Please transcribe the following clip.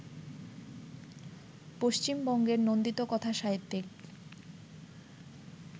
পশ্চিমবঙ্গের নন্দিত কথাসাহিত্যিক